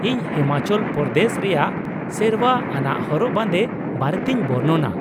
ᱤᱧ ᱦᱤᱢᱟᱪᱚᱞ ᱯᱨᱚᱫᱮᱥ ᱨᱮᱭᱟᱜ ᱥᱮᱨᱶᱟ ᱟᱱᱟᱜ ᱦᱚᱨᱚᱜ ᱵᱟᱸᱫᱮ ᱵᱟᱨᱮᱛᱤᱧ ᱵᱚᱨᱱᱚᱱᱟ ᱾